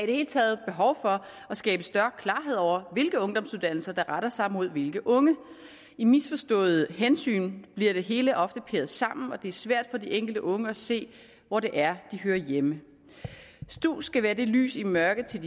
det hele taget behov for at skabe større klarhed over hvilke ungdomsuddannelser der retter sig mod hvilke unge i misforstået hensyn bliver det hele ofte parkeret sammen og det er svært for de enkelte unge at se hvor det er de hører hjemme stu skal være et lys i mørket til